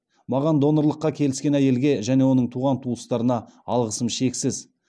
маған донорлыққа келіскен әйелге және оның туған туыстарына алғысым шексіз